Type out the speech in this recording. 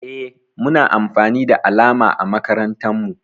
Eh Muna amfani da alama a makarantan mu.